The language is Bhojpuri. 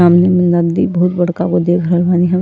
सामने में नदी बहुत बड़का वो देख रहल बानी हम।